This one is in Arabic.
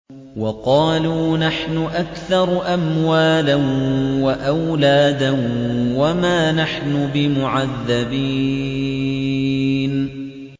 وَقَالُوا نَحْنُ أَكْثَرُ أَمْوَالًا وَأَوْلَادًا وَمَا نَحْنُ بِمُعَذَّبِينَ